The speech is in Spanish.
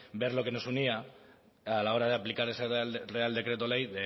ver lo que nos unía a la hora de aplicar ese real decreto ley